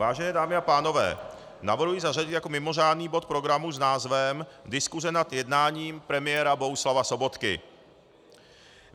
Vážené dámy a pánové, navrhuji zařadit jako mimořádný bod programu s názvem Diskuse nad jednáním premiéra Bohuslava Sobotky.